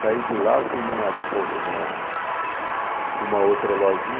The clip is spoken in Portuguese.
Saí de lá, fui numa tipo, numa numa outra lojinha.